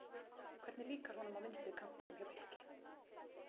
Hvernig líkar honum á vinstri kantinum hjá Fylki?